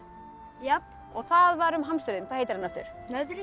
já það var um hamsturinn hvað heitir hann aftur